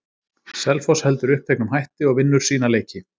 Selfoss heldur uppteknum hætti og vinnur sína leiki.